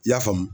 I y'a faamu